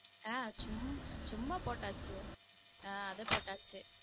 ஹம் சும்மா சும்மா போட்டாச்சு ஹம் அது போட்டாச்சு.